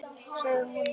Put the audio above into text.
Hvar er sonur minn?